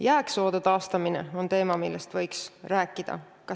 Jääksoode taastamine on teema, millest võiks rääkida.